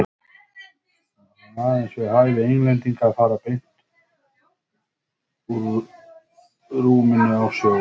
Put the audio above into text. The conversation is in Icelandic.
Það var aðeins við hæfi Englendinga að fara beint úr rúminu í sjóinn.